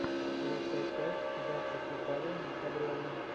лучшая часть дачи с виталием декабревым